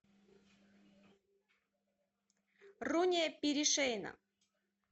руния перешейна